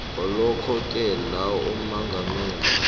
ngalokhoke la ummangalelwa